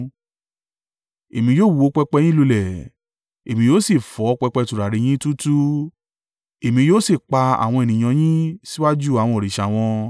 Èmi yóò wó pẹpẹ yín lulẹ̀, èmi yóò sì fọ́ pẹpẹ tùràrí yín túútúú; èmi yóò sì pa àwọn ènìyàn yín síwájú àwọn òrìṣà wọn.